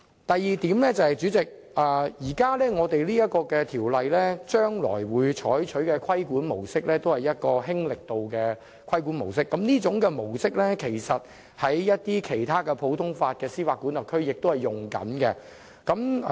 第二，代理主席，當前這項《條例草案》將會採取一個"輕力度"的規管模式，而這亦是其他普通法司法管轄區正採用的模式。